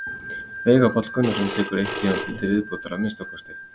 Veigar Páll Gunnarsson tekur eitt tímabil til viðbótar að minnsta kosti.